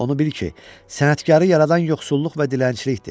Onu bil ki, sənətkarı yaradan yoxsulluq və dilənçilikdir.